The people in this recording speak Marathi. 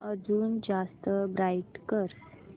अजून जास्त ब्राईट कर